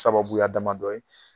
Sababuya damadɔ ye.